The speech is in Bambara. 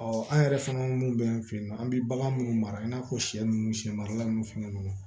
an yɛrɛ fana mun bɛ an fɛ yen nɔ an bɛ bagan minnu mara i n'a fɔ siyɛ ninnu siyɛn marala ninnu fɛn ninnu